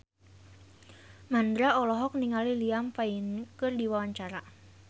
Mandra olohok ningali Liam Payne keur diwawancara